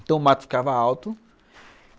Então o mato ficava alto.